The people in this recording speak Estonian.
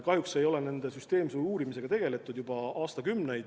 Kahjuks ei ole nende süsteemse uurimisega tegeletud juba aastakümneid.